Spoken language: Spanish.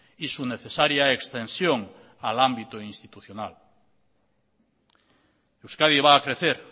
y su necesaria extensión al ámbito institucional euskadi va a crecer